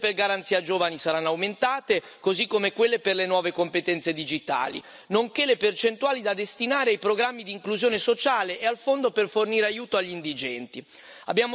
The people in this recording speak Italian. Le risorse per la garanzia per i giovani saranno aumentate, così come quelle per le nuove competenze digitali, nonché le percentuali da destinare ai programmi di inclusione sociale e al Fondo di aiuti europei agli indigenti.